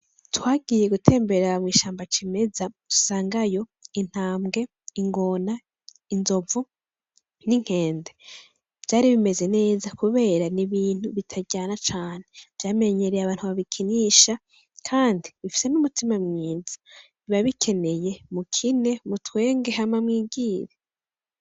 Twagiye gutemberera mw'ishamba cimeza dusangayo intambwe, ingona, inzovu n'inkende vyari bimeze neza kubera ni ibintu bitaryana cane vyamenyereye abantu babikinisha kandi bifise n'umutima mwiza, biba bikeneye mukine, mutwenge hama mwigire.